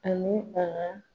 Ani a ka